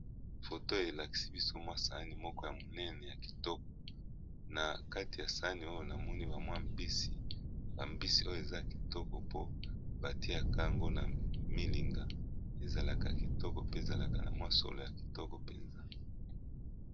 Foto oyo elakisi biso saani ya munene pe ya kitoko nakati namoni mbisi batiyaka yango na milinga mbisi ekomi na solo ya kitoko.